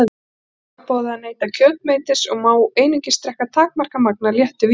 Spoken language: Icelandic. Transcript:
Honum er forboðið að neyta kjötmetis og má einungis drekka takmarkað magn af léttu víni.